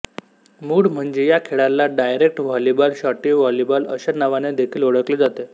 मूळ म्हणजे या खेळाला डायरेक्ट व्हॉलीबॉल शॉटी व्हॉलीबॉल अशा नावांनी देखिल ओळखले जाते